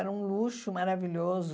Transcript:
Era um luxo maravilhoso.